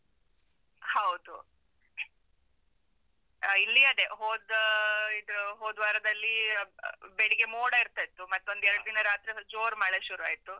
ಹೌದು, ಆ, ಇಲ್ಲಿ ಅದೇ, ಹೋದಾ ಇದು ಹೋದ್ವಾರದಲ್ಲೀ, ಅ ಬ ಬೆಳಿಗ್ಗೆ ಮೋಡ ಇರ್ತಾಯಿತ್ತು, ಮತ್ತೊಂದ್ ಎರ್ಡ್ ದಿನ ರಾತ್ರಿಸ ಜೋರ್ ಮಳೆ ಶುರ್ವಾಯ್ತು.